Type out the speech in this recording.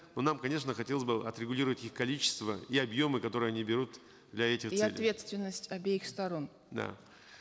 но нам конечно хотелось бы отрегулировать их количество и объемы которые они берут для этих целей и ответственность обеих сторон да